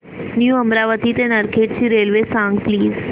new Amravati ते नरखेड ची railway सांग प्लीज